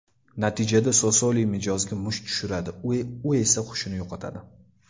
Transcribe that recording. Natijada Sosoli mijozga musht tushiradi, u esa hushini yo‘qotadi.